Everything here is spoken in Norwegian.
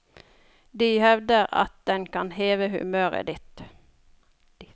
De hevder at den kan heve humøret litt.